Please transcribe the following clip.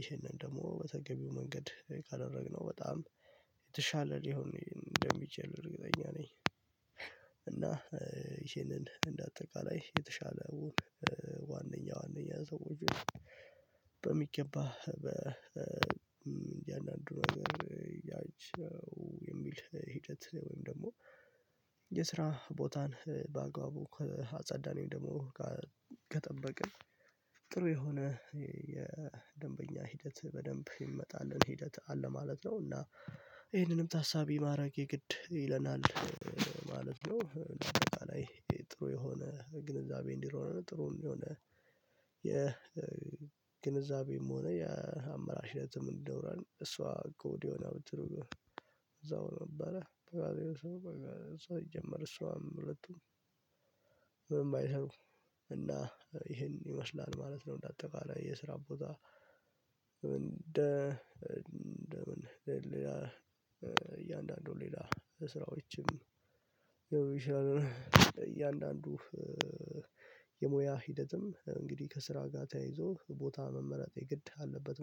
ይሄንን ደግሞ በተገቢው መንገድ ካደረግነው በጣም የተሻለ ሊሆን ነው እንደሚችል እርግጠኛ ነኝ። እና ይሄንን እንደ አጠቃላይ የተሻለ ዋንኛ ዋንኛ ዘውጁ በሚገባ በ እንጃን አንድ ነገር ያው የሚል ሂደት ወይም ደግሞ የስራ ቦታን በአግባቡ ከአጸዳነው ደግሞ ከጠበቅን ጥሩ የሆነ የደንበኛ ሂደት በደንብ ይመጣልን ሂደት አለ ማለት ነው እና ይሄንንም ታሳቢ ማረግ የግድ ይለናል ማለት ነው። ጥሩ የሆነ ግንዛቤ እንዲኖረንም ጥሩ የሆነ የ ግንዛቤም ሆነ የአመራር ሽረትም እንዲኖረን እሷ ከወዲያው ነው እዛው ነበረ እሷ ይጀምር እሷም ለጡም ምን ባይሰሩ እና ይሄን ይመስላል ማለት ነው። እንደ አጠቃላይ የስራ ቦታ እንደ እንደ ምን ሌላ ሌላ ስራዎችም የሚችላል እያንዳንዱ የሙያ ሂደትም እንግዲህ ከስራ ጋር ተያይዞ ቦታ መመረጥ የግድ አለበት